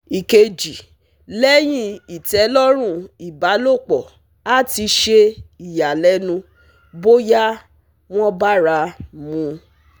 Ikeji leyin itelorun ibalopo ati se iyalenu boya won bara mu